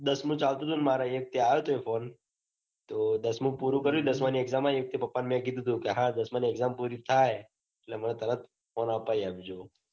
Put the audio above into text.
દસમું ચાલતું હતું. મારે એક તે આયો તો phone તો દસમું પૂરું કર્યું. દસમાની exam પુરી થાય મેં પાપા ને કીધું તુ. હા દાસ્મની exam પુરી થાય એટલે મને તરત phone અપાઈ આપ જો.